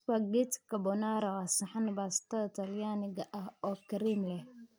Spaghetti carbonara waa saxan baastada talyaaniga ah oo kareem leh.